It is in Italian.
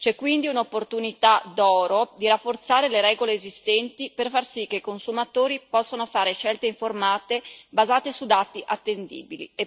C'è quindi un'opportunità d'oro di rafforzare le regole esistenti per far sì che i consumatori possano fare scelte informate basate su dati attendibili.